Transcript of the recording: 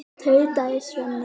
tautaði Svenni.